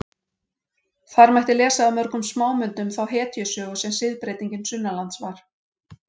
Þar mætti lesa af mörgum smámyndum þá hetjusögu sem siðbreytingin sunnanlands var.